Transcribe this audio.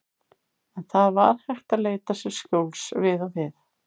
En það var hægt að leita sér skjóls við og við.